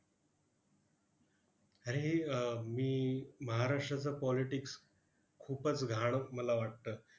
अरे हे अह मी महाराष्ट्राचा politics खूपच घाण मला वाटतं.